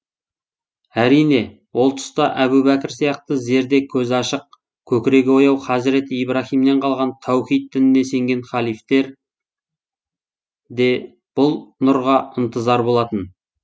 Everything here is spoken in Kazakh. әрине ол тұста әбу бәкір сияқты зерде көзі ашық көкірегі ояу хазірет ибраһимнен қалған тәухид дініне сенген ханифтер де бұл нұрға ынтызар болатын